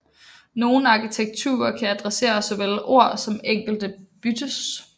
Nogle arkitekturer kan adressere såvel ord som enkelte bytes